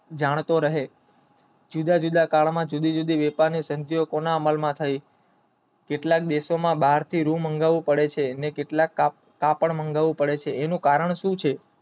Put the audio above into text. જાણતો રહે જુદા જુદા કાળમાં જુદી જુદી વબેપરની કેટલાક દેશોમાં બહારથી રૂ મમંગાવું પડે છે અને કાપડ મંગાવું પડે છે એનું કારણ સુ છે